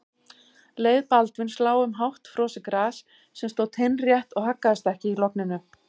Leið Baldvins lá um hátt frosið gras sem stóð teinrétt og haggaðist ekki í logninu.